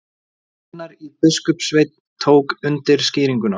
Annar biskupssveinn tók undir skýringuna.